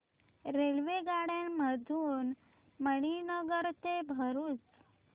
रेल्वेगाड्यां मधून मणीनगर ते भरुच